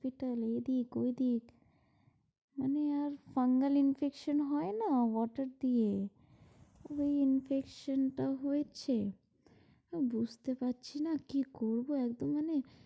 hospital এইদিক ঐদিক, মানে আর fungal infection হয় না water দিয়ে, ওই infection টা হয়েছে। বুঝতে পারছি না কি করবো একদম মানে,